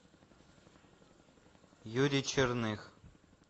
юрий черных